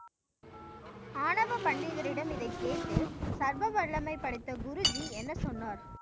ஆணவ பண்டிதரிடம் இதை கேட்டு சர்வ வல்லமை படைத்த குருஜி என்ன சொன்னார்?